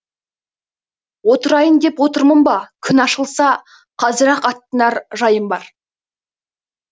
отырайын деп отырмын ба күн ашылса қазір ақ аттанар жайым бар